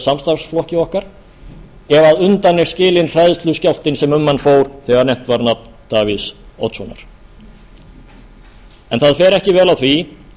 samstarfsflokki okkar ef undan er skilinn hræðsluskjálftinn sem um hann fór þegar nefnt var nafn davíðs oddssonar það fer ekki vel á því